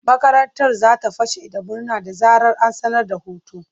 Makarantar za ta fashe da murna da zarar an sanar da hutu.